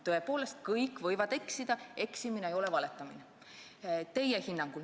Tõepoolest, kõik võivad eksida ja eksimine ei ole valetamine – teie hinnangul.